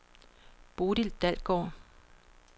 Bodil Dalgaard